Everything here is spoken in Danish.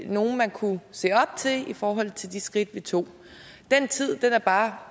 nogle man kunne se op til i forhold til de skridt vi tog den tid er bare